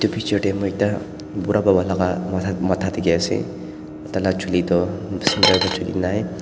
etu picture tae moi ekta bura baba laka matha dikhiase tai laka chuli toh center te chuli nai.